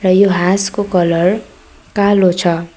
र यो हाँसको कलर कालो छ।